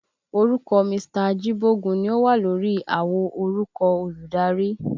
Orúkọ Mr. Ajíbógun ni ó wà lórí àwo orúkọ olùdarí